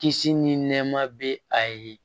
Kisi ni nɛɛma bɛ a ye